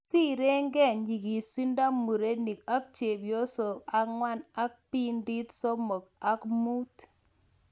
sirengee nyigisondo murenig ak cheepyoseet angwan ak pindit somok akt mut